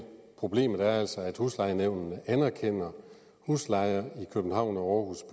problemet er altså at huslejenævnene anerkender huslejer i københavn og aarhus